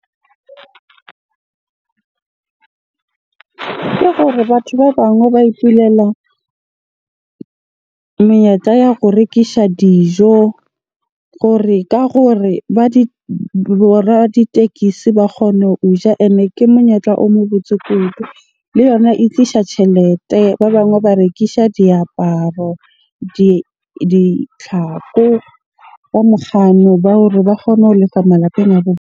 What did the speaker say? Ke gore batho ba bangwe ba ipulela menyetla ya ho rekisha dijo gore ka gore ba di, bo raditekesi ba kgone ho ja. Ene ke monyetla o mo botse kudu, le yona e tlisha tjhelete. Ba bangwe ba rekisha diaparo, ditlhako ba ba hore ba kgone ho lefa malapeng a .